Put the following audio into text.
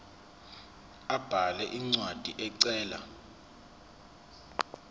abhale incwadi ecela